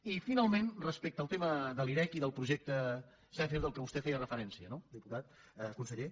i finalment respecte al tema de l’irec i del projecte zèfir a què vostè feia referència no conseller